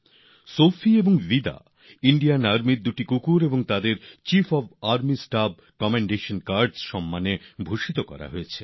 Sophie আর Vida ভারতীয় সেনার দুটি কুকুর ডগস আর তাদের chief of army staff commendation card সম্মানে সম্মানিত করা হয়েছে